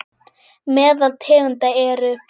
Meðal tegunda eru